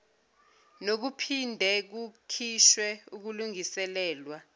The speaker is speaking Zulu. nokuphinde kukhishwe ukulungiselelwa